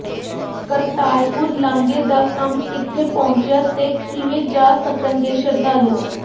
ਕਰਤਾਰਪੁਰ ਲਾਂਘੇ ਦਾ ਕੰਮ ਕਿੱਥੇ ਪਹੁੰਚਿਆਂ ਤੇ ਕਿਵੇਂ ਜਾ ਸਕਣਗੇ ਸ਼ਰਧਾਲੂ